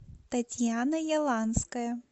татьяна яланская